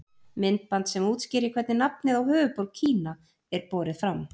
Myndband sem útskýrir hvernig nafnið á höfuðborg Kína er borið fram.